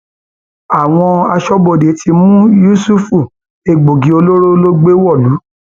àwọn aṣọbodè ti mú yùsùfẹ egbòogi olóró ló gbé wọlú